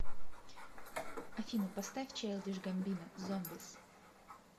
афина поставь чайлдиш гамбино зомбис